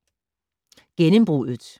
Gennembruddet